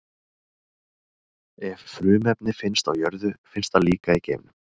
Ef frumefni finnst á jörðu, finnst það líka í geimnum.